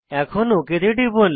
okay টিপুন